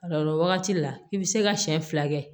O la wagati la i bi se ka siɲɛ fila kɛ